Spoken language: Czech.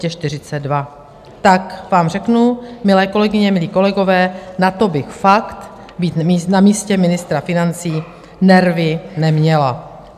Tak vám řeknu, milé kolegyně, milí kolegové, na to bych fakt, být na místě ministra financí, nervy neměla.